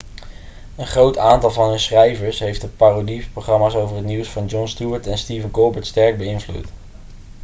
een groot aantal van hun schrijvers heeft de parodieprogramma's over het nieuws van jon stewart en stephen colbert sterk beïnvloed